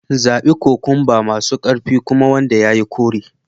Zabi kokwamba masu ƙarfi kuma wanda ya yi kore